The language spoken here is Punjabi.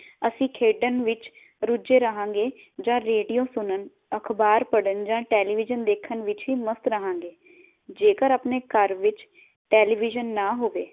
ਅਸੀਂ ਖੇਡਣ ਵਿਚ ਰੁਝੇ ਰਹਾਗੇ ਜਾਂ ਰੇਡੀਓ ਸੁਣਨ, ਅਖਬਾਰ ਪੜਨ ਜਾਂ ਟੇਲੀਵਿਜ਼ਨ ਵੇਖਣ ਵਿਚ ਹੀ ਮਸਤ ਰਹਾਗੇ। ਜੇਕਰ ਆਪਣੇ ਘਰ ਵਿਚ ਟੇਲੀਵਿਜਨ ਨਾ ਹੋਵੇ